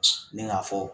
Ne k'a fɔ